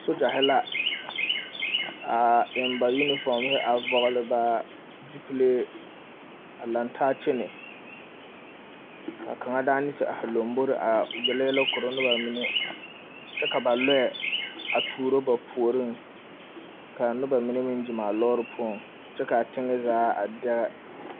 Sogyahi la a eŋ ba yunifoohi a vɔgle ba zupilee a lantaa kyɛnɛ ka kaŋa daana te ahi yele yɛlɛ kora noba mine kyɛ ka ba loɛ a tuuro ba puoriŋ ka a noba mine meŋ gyeŋ a loori puoŋ kyɛ ka a teŋɛ zaa a dɛge.